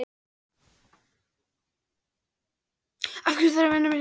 Af hverju þurfa að vera nánast tveir bæjarstjórar núna?